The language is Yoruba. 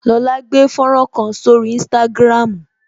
Lola gbé fọ́nrán kan sórí instagram